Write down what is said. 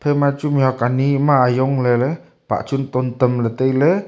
ephai ma chu mihuak anyi ma yongley ley pah chun ton tam ley tailey.